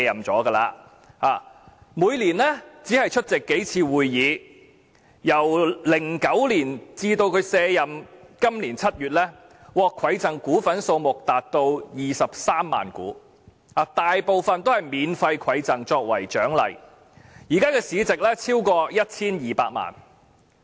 他每年只出席數次會議，由2009年至今年7月他卸任，他獲饋贈股份數目達23萬股，大部分都是以免費饋贈作為獎勵，現時市值超過 1,200 萬元。